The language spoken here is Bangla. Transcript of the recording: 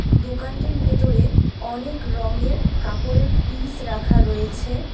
দোকানটির ভেতরে অনেক রঙের কাপড়ের পিস রাখা রয়েছে।